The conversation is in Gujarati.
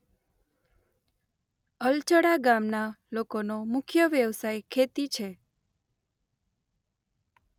અલજડા ગામના લોકોનો મુખ્ય વ્યવસાય ખેતી છે.